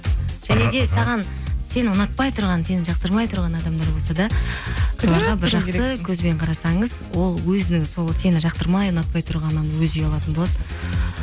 және де саған сені ұнатпай тұрған сені жақтырмай тұрған адамдар болса да жақсы көзбен қарасаңыз ол өзінің сол сені жақтырмай ұнатпай тұрғаннан өзі ұялатын болады